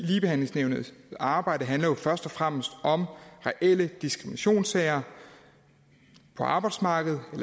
ligebehandlingsnævnets arbejde handler jo først og fremmest om reelle diskriminationssager på arbejdsmarkedet